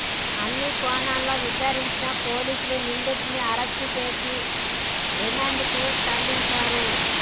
అన్ని కోణాల్లో విచారించిన పోలీసులు నిందితుడిని అరెస్టు చేసి రిమాండ్కు తరలించారు